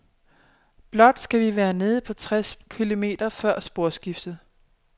Blot skal vi være nede på tres kilometer før sporskiftet.